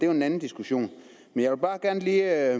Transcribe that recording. jo en anden diskussion men jeg vil bare lige